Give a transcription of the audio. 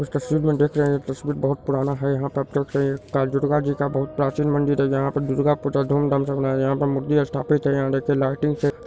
उस तस्वीर में देख रहे है ये तस्वीर बहुत पुराना है यहां है तथा दुर्गा जी का बहुत प्राचीन मंदिर है यहां पर दुर्गा पूजा धूम-धाम से मनाया यहां पर मूर्ति स्थापित है यहां देखिये लाइटिंग --